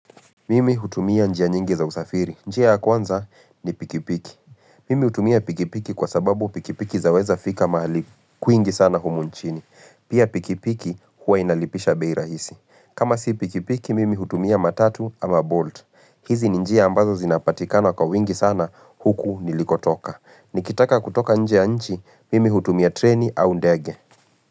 Mimi hutumia njia nyingi za usafiri. Njia ya kwanza ni pikipiki. Mimi hutumia pikipiki kwa sababu pikipiki zaweza fika mahali kwingi sana humu nchini. Pia pikipiki huwa inalipisha bei rahisi. Kama si pikipiki, mimi hutumia matatu ama bolt. Hizi ni njia ambazo zinapatikana kwa wingi sana huku nilikotoka. Nikitaka kutoka nje ya nchi, mimi hutumia treni au ndege.